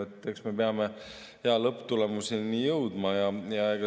Eks me peame hea lõpptulemuseni jõudma.